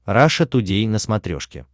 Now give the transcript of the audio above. раша тудей на смотрешке